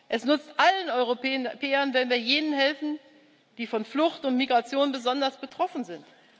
Es nützt allen Europäern, wenn wir jenen helfen, die von Flucht und Migration besonders betroffen sind.